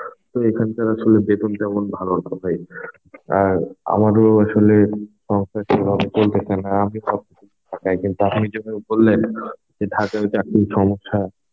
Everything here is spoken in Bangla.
তো এখানকার আসলে বেতন তেমন ভালো না তাই আর আমারও আসলে সমস্যা ছিল আমি বলতে চাই না আমি তো ঢাকায়~ আপনি যখন বললেন যে ঢাকায় চাকরির সমস্যা